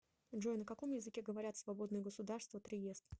джой на каком языке говорят в свободное государство триест